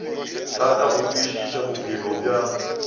thata go kwešiša bophelo bja